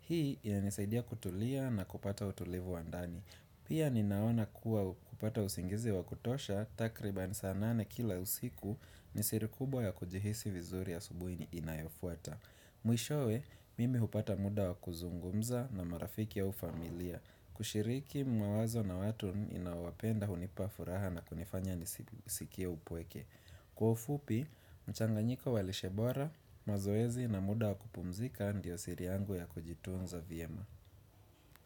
Hii ya nisaidia kutulia na kupata utulivu wa ndani Pia ninaona kuwa kupata usingizi wakutosha takriba ni saa nane kila usiku nisiri kubwa ya kujihisi vizuri ya asubuhi inayofuata. Mwishowe, mimi hupata muda wakuzungumza na marafiki ya ufamilia. Kushiriki mawazo na watu inawapenda hunipa furaha na kunifanya nisikie upweke. Kwa ufupi, mchanganyiko walishe bora, mazoezi na muda wakupumzika ndio siri yangu ya kujitunza vyema.